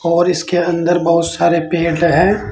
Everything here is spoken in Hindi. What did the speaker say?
और इसके अंदर बहोत सारे पेड़ है।